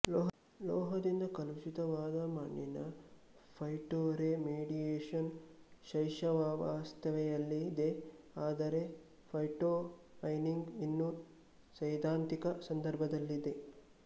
ಲೋಹದಿಂದ ಕಲುಷಿತವಾದ ಮಣ್ಣಿನ ಫೈಟೊರೆಮಿಡಿಯೇಶನ್ ಶೈಶವಾವಸ್ಥೆಯಲ್ಲಿದೆ ಆದರೆ ಫೈಟೊಮಯ್ನಿಂಗ್ ಇನ್ನೂ ಸೈದ್ಧಾಂತಿಕ ಸಂದರ್ಭದಲ್ಲಿದೆ